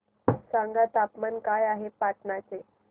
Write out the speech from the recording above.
सांगा तापमान काय आहे पाटणा चे